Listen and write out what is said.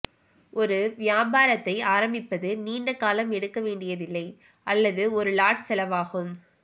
ஒரு வியாபாரத்தை ஆரம்பிப்பது நீண்ட காலம் எடுக்க வேண்டியதில்லை அல்லது ஒரு லாட் செலவாகும்